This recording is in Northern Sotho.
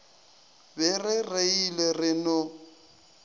be re reilwe re no